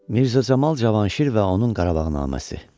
Mirzə Camal Cavanşir və onun Qarabağnaməsi.